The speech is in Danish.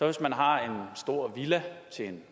hvis man har en stor villa til